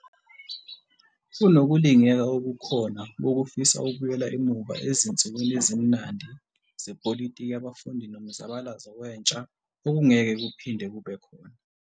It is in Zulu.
Kunokulingeka okukhona kokufisa ukubuyela emuva 'ezinsukwini ezimnandi' zepolitiki yabafundi nomzabalazo wentsha, okungeke kuphinde kube khona.